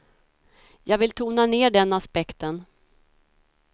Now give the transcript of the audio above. Jag vill tona ner den aspekten.